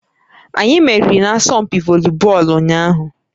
Anyị meriri n'asọmpi volibọọlụ ụnyaahụ